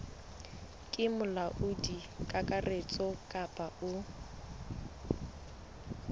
ke molaodi kakaretso kapa o